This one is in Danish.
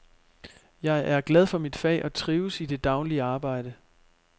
Jeg er glad for mit fag og trives i det daglige arbejde.